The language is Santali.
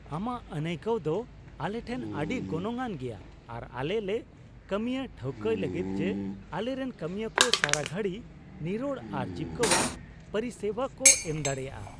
ᱟᱢᱟᱜ ᱟᱹᱱᱟᱭᱠᱟᱹᱣ ᱫᱚ ᱟᱞᱮ ᱴᱷᱮᱱ ᱟᱹᱰᱤ ᱜᱚᱱᱚᱝ ᱟᱱ ᱜᱮᱭᱟ, ᱟᱨ ᱟᱞᱮ ᱞᱮ ᱠᱟᱹᱢᱤᱭᱟ ᱴᱷᱟᱹᱣᱠᱟᱹᱭ ᱞᱟᱹᱜᱤᱫ ᱡᱮ ᱟᱞᱮᱨᱮᱱ ᱠᱟᱹᱢᱤᱭᱟᱹ ᱠᱚ ᱥᱟᱨᱟ ᱜᱷᱟᱹᱲᱤ ᱱᱤᱨᱚᱲ ᱟᱨ ᱡᱤᱵᱠᱟᱹᱣᱟᱱ ᱯᱚᱨᱤᱥᱮᱵᱟ ᱠᱚ ᱮᱢ ᱫᱟᱲᱮᱭᱟᱜᱼᱟ ᱾